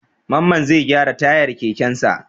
Mamman zai gyara tayar kekensa.